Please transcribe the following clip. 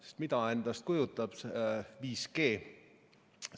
Sest mida kujutab endast 5G?